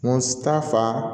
Kun ta fan